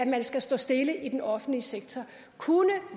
man skal stå stille i den offentlige sektor kunne